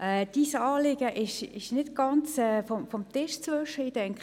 Das Anliegen ist nicht ganz von der Hand zu weisen.